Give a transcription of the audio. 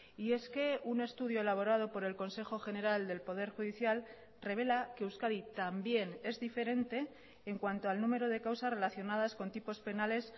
y es que un estudio elaborado por el consejo general del poder judicial revela que euskadi también es diferente en cuanto al número de causas relacionadas con tipos penales